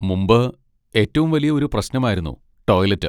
മുമ്പ് ഏറ്റവും വലിയ ഒരു പ്രശ്നമായിരുന്നു ടോയ്ലെറ്റ്.